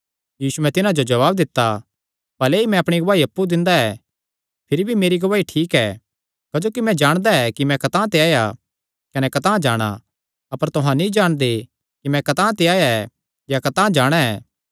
यीशुयैं तिन्हां जो जवाब दित्ता भले ई मैं अपणी गवाही अप्पु दिंदा ऐ भिरी भी मेरी गवाही ठीक ऐ क्जोकि मैं जाणदा कि मैं कतांह ते आया कने कतांह जाणा अपर तुहां नीं जाणदे कि मैं कतांह ते आया ऐ या कतांह जो जाणा ऐ